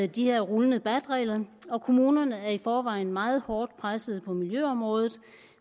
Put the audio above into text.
de her rullende bat regler og kommunerne er i forvejen meget hårdt presset på miljøområdet